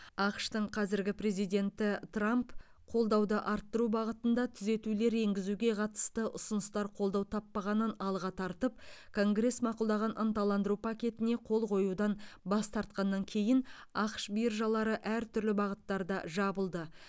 ақш тың қазіргі президенті трамп қолдауды арттыру бағытында түзетулер енгізуге қатысты ұсыныстар қолдау таппағанын алға тартып конгресс мақұлдаған ынталандыру пакетіне қол қоюдан бас тартқаннан кейін ақш биржалары әртүрлі бағыттарда жабылды